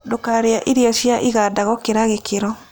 Ndũkarĩe irio cia ĩgada gũkĩra gĩkĩro